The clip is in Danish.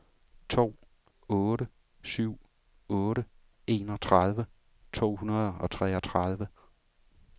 to otte syv otte enogtredive to hundrede og treogtredive